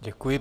Děkuji.